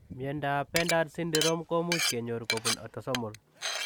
Miondoop pendered sindirom komuuch kenyor kobunu atosomol .